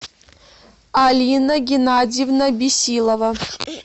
алина геннадьевна бесилова